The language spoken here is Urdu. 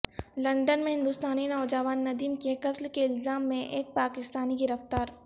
لندن میں ہندوستانی نوجوان ندیم کے قتل کے الزام میں ایک پاکستانی گرفتار